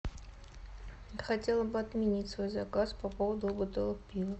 хотела бы отменить свой заказ по поводу бутылок пива